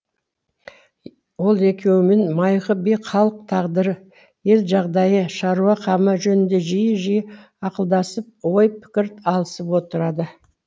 ол екеуімен майқы би халық тағдыры ел жағдайы шаруа қамы жөнінде жиі жиі ақылдасып ой пікір алысып отырады